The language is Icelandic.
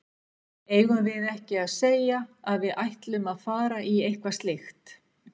Eigum við ekki að segja að við ætlum að fara í eitthvað slíkt?